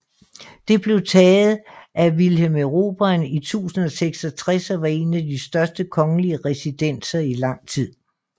Det blev taget af Vilhelm Erobreren i 1066 og var en af de største kongelige residenser i lang tid